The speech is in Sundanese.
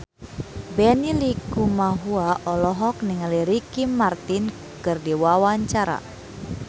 Benny Likumahua olohok ningali Ricky Martin keur diwawancara